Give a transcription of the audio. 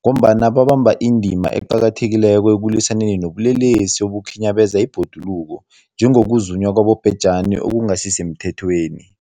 ngombana babamba indima eqakathekileko ekulwisaneni nobulelesi obukhinyabeza ibhoduluko, njengokuzunywa kwabobhejani okungasisemthethweni.